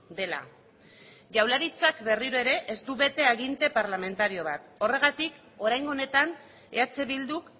dela jaurlaritzak berriro ere ez du bete aginte parlamentario bat horregatik oraingo honetan eh bilduk